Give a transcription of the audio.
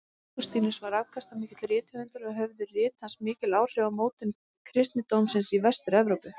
Ágústínus var afkastamikill rithöfundur og höfðu rit hans mikil áhrif á mótun kristindómsins í Vestur-Evrópu.